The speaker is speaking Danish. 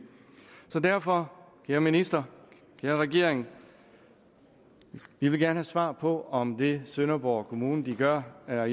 så derfor kære minister kære regering vi vil gerne have svar på om det sønderborg kommune gør er